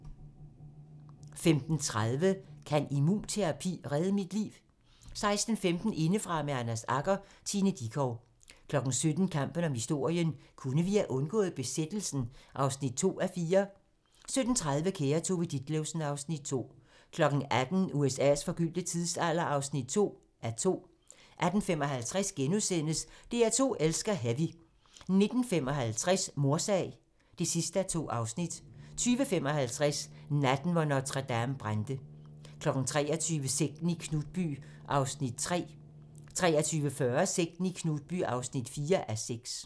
15:30: Kan immunterapi redde mit liv? 16:15: Indefra med Anders Agger - Tina Dickow 17:00: Kampen om historien - kunne vi have undgået besættelsen? (2:4) 17:30: Kære Tove Ditlevsen (Afs. 2) 18:00: USA's forgyldte tidsalder (2:2) 18:55: DR2 elsker heavy * 19:55: Mordsag (2:2) 20:55: Natten, hvor Notre-Dame brændte 23:00: Sekten i Knutby (3:6) 23:40: Sekten i Knutby (4:6)